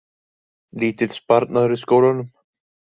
Lítill sparnaður í skólunum